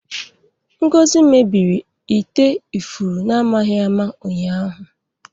Ngozi mebiri ite ifuru n'amaghị ama ụnyaahụ.